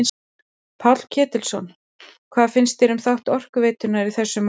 Páll Ketilsson: Hvað finnst þér um þátt Orkuveitunnar í þessu máli öllu?